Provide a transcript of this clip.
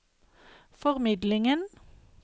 formidlingen